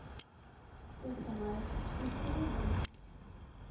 Fréttamaður: Býstu við þeim?